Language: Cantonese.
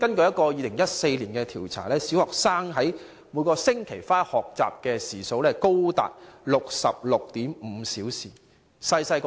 根據2014年的一項調查，小學生每星期花在學習的時數高達 66.5 小時。